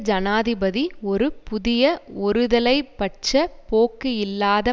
ஜனாதிபதி ஒரு புதிய ஒருதலை பட்ச போக்கு இல்லாத